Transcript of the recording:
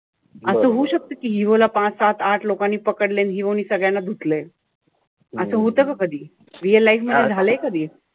असं होऊ शकत कि hero ला पाच-सात-आठ लोकांनी पकडलंय, आणि hero नि सगळ्यांना धुतलंय. असं होत का कधी. real life मध्ये झालंय कधी?